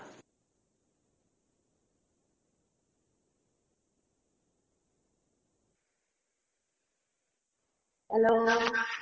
hello